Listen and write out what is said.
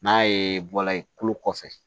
N'a ye bɔla ye tulo kɔfɛ